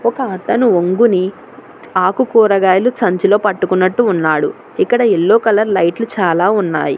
ఒకతను ఒంగోని ఆకు కూరగాయలు సంచిలో పట్టుకున్నట్టు ఉన్నాడు ఇక్కడ యెల్లో కలర్ లైట్లు చాలా ఉన్నాయి.